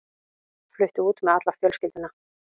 Flutti út með alla fjölskylduna.